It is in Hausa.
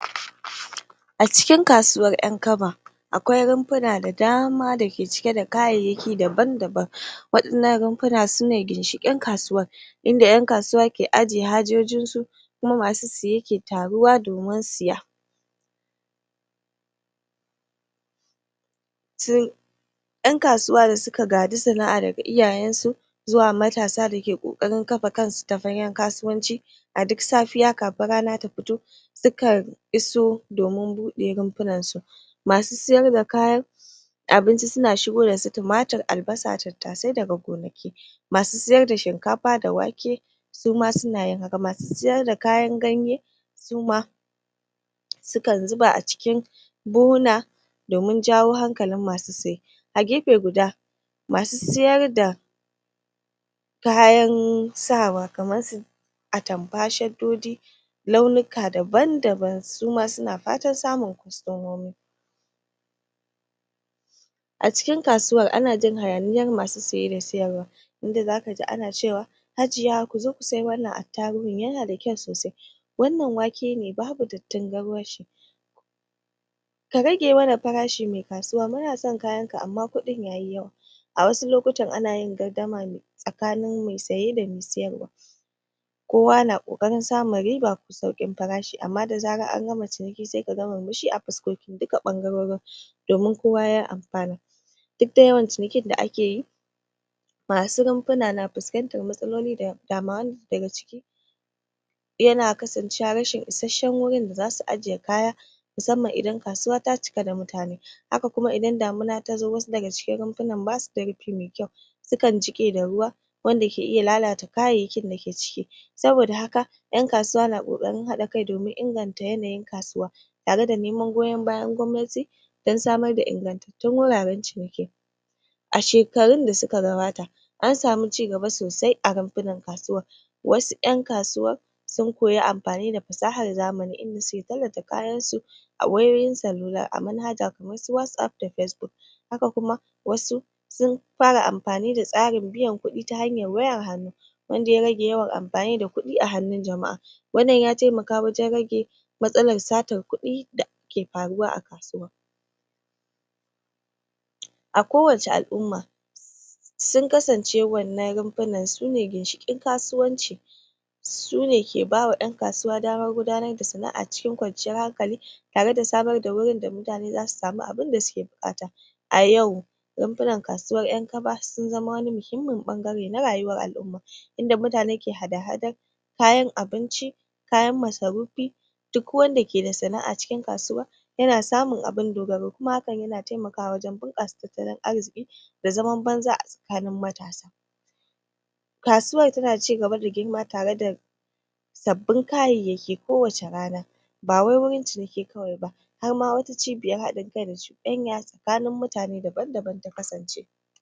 a cikin kasuwar ƴan kaba akwai runfuna da dama dake cike da kayayyaki daban daban waɗannan runfuna sune ginshiƙin kasuwar inda ƴan kasuwa ke ajje hajojinsu kuma masu siye ke taruwa domin siya ƴan kasuwa da suka gaji sana'a daga iyayansu zuwa matasa dake kokarin kafa kasu ta fagan kasuwanci a duk safiya kafin rana ta fito sukan iso sukan iso domin buɗe runfunansu masu siyar da kayan albasa tattasai daga gonaki abinci suna shigo dasu tumatur masu siyar da shinkafa da wake suma sunayin haka masu siyar d kayan ganye suma sukan zuba a cikin buhunhuna domin jawo hankalin masu siye a gefe guda masu siyarda kayan sawa kamarsu atamfa shaddoji launika daban daban suma suna fatan samun kwastomomi a cikin kasuwar ana jin hayaniyar masu siye da siyarwa inda zakaji ana cewa hajiya inda zakaji ana cewa hajiya kozo ku siya wannan attaruhun yana da kyau sosai wannan wake ne babu dattin garwashi ka rage mana farashi me kasuwa munasan kayanka amma kudin yayi yawa a wasu lokutan anayin gardama tsakanin me saye da me sayarwa kowa na kokarin samun saukin farashi amma da zarar angama ciniki sai kaga murmushi a fuskokin duka ɓangarurin domin kowa ya amfana duk da yawan cinikin da akeyi masu runfuna na fuskantar matsaloli da dama wanda daga ciki yana kasancewa rashin ishasshan gurin da zasu ajje kaya musanman idan kasuwa ta cika da mutane haka kuma idan damuna tazo wasu daga cikin runfunan basuda rufi me kyau su kan jiƙe da ruwa wanda ke iya lalata kayayyakin dake ciki saboda haka ƴan kasuwa na ƙokarin haɗa kai domin inganta yanayin kasuwa tare da neman goyan bayan gwamnati dan samar da ingantattun wuraran ciniki a shekarun da suka gabata ansamu cigaba sosai a runfunan kasuwar wasu ƴan kasuwar sun koyi amfani da fasahar zamani inda suke tallata kayansu a wayoyin salula a manhaja kamarsu whatapp da facebook haka kuma wasu sun fara amfani da tsarin biyan kuɗi ta hanyar wayar hannu wanda ya rage yawan amfani d kuɗi a hannun jama'a wannan ya taimaka wajan rage matsalar satar kudi da yake faruwa a kasuwa a kowacce al'umma sun kasance wannan runfunan sune ginshiƙin kasuwanci sune ke bawa ƴan kasuwa damar gudanar da sana'a cikin kwanciyar hankali tare da samar da gurin da mutane zasu samu abunda suke bukata a yau rufunan kasuwar ƴan kaba sun zama wani muhimmin muhimmin ɓangare na rayuwar al'uma inda mutane ke hada hadar kayan abinci kayan masarufi duk wanda ke da sana'a cikin kasuwa yana samun abun dogaro kuma hakan yana taimakawa wajan bunƙasa tattalin arziki da zaman banza a tsakanin matasa a tsakanin matsa kasuwar tana cigaba da girma kasuwar tana cigaba da girma tare da sabbin kayayyaki ko wacce rana ba wai wurin ciniki kawai ba harma wata cibiyar hadin kai da cudanya tsakanin mutane daban daban ta kasance